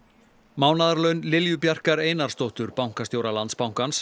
mánaðarlaun Lilju Bjarkar Einarsdóttur bankastjóra Landsbankans